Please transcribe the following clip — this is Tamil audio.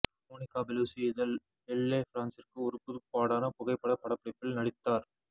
மோனிகா பெலூசி இதழ் எல்லே பிரான்சிற்கு ஒரு புதுப்பாடான புகைப்பட படப்பிடிப்பில் நடித்தார்